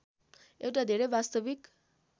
एउटा धेरै वास्तविक